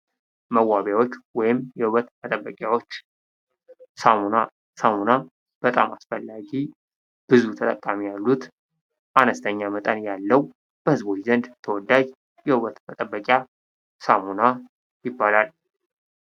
መዋቢያዎች ወይም የውበት መጠበቂዎች ሳሙና ሳሙና በጣም አስፈላጊ ብዙ ተጠቃሚ ያሉት አነስተኛ መጠን ያለው በዝቦች ዘንድ ተወዳጅ ውበት መጠበቂያ ሳሙና ይባላል ።